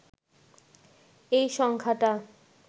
এই সংখ্যাটা